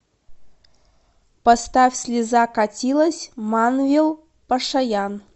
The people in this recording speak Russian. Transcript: поставь слеза катилась манвел пашаян